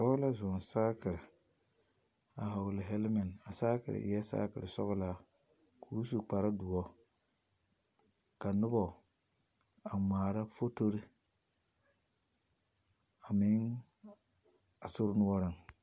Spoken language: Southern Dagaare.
Dɔɔ la zoɔ saakere a hɔgele hɛlemɛnt, a saakere eɛ saakere sɔgelaa k'o su kpare doɔ ka noba a ŋmaara fotore a meŋ a sori noɔreŋ.